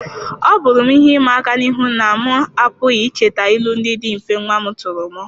Ọ bụrụ m ihe ịma aka n'ihu na m apụghị icheta ilu ndị dị mfe nwa m tụrụ m.